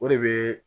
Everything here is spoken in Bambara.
O de bɛ